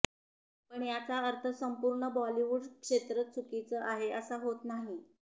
पण याचा अर्थ संपूर्ण बॉलिवूड क्षेत्रच चुकीचं आहे असा होत नाही